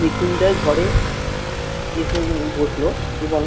মৃত্যুঞ্জয় ঘরে এসে বসলো এবং